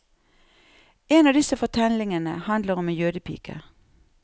En av disse fortellingene handler om en jødepike.